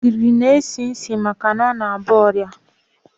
Ogiri n-esi isi maka na ọ na-aba ọra.